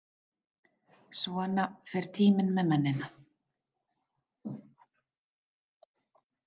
Svona fer tíminn með mennina.